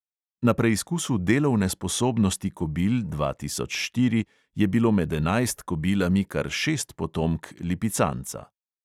Na preizkusu delovne sposobnosti kobil dva tisoč štiri je bilo med enajst kobilami kar šest potomk lipicanca.